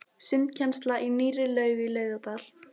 Sundkennsla í nýrri laug í Laugardal.